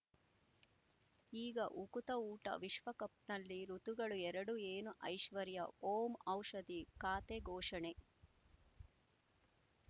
ಈಗ ಉಕುತ ಊಟ ವಿಶ್ವಕಪ್‌ನಲ್ಲಿ ಋತುಗಳು ಎರಡು ಏನು ಐಶ್ವರ್ಯಾ ಓಂ ಔಷಧಿ ಖಾತೆ ಘೋಷಣೆ